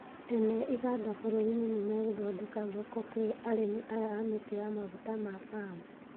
Ene iganda bũrũri-inĩ nĩmegũthondeka thoko kwĩ arĩmi aya a mĩtĩ ya maguta ma Palm